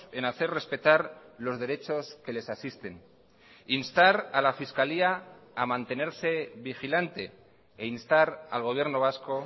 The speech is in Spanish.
en hacer respetar los derechos que les asisten instar a la fiscalía a mantenerse vigilante e instar al gobierno vasco